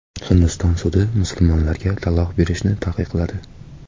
Hindiston sudi musulmonlarga taloq berishni taqiqladi.